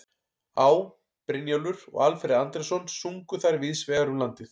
Á., Brynjólfur og Alfreð Andrésson sungu þær víðs vegar um landið.